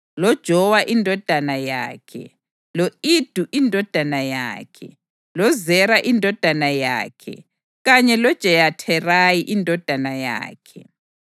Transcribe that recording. loJowa indodana yakhe, lo-Ido indodana yakhe, loZera indodana yakhe kanye loJeyatherayi indodana yakhe.